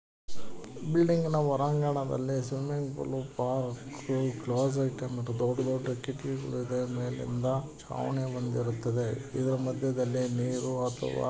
ಬಿಲ್ಡಿಂಗ್ನ ಹೊರಾಂಗಣದಲ್ಲಿ swimming pool park ದೊಡ್ಡ ದೊಡ್ಡ ಕಿಟಕಿಗಳು ಇದೆ. ಮೇಲಿಂದ ಛಾವಣಿ ಬಂದಿರುತ್ತದೆ ಇದರ ಮಧ್ಯದಲ್ಲಿ ನೀರು ಅಥವಾ--